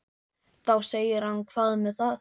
Þá segir hann Hvað með það.